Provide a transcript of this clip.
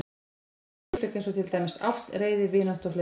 Má þar nefna hugtök eins og til dæmis ást, reiði, vináttu og fleira.